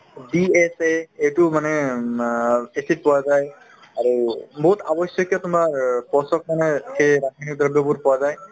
DSA এইটো মানে উম আ acid পোৱা যায় আৰু বহুত আগৰ তোমাৰ পোৱা যায়